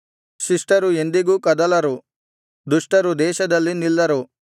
ಶಿಷ್ಟರು ಎಂದಿಗೂ ಕದಲರು ದುಷ್ಟರು ದೇಶದಲ್ಲಿ ನಿಲ್ಲರು